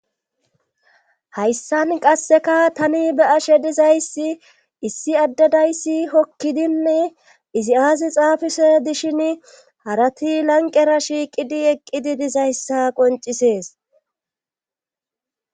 hayssan qasseka tani be ashe dizayssi issi addadayssi hokkidinne izi aazi xaafise dishin harati lanqera shiiqidi eqqidi dizayssa qoncisees